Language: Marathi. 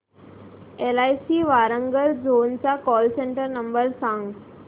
एलआयसी वारांगल झोन चा कॉल सेंटर नंबर सांग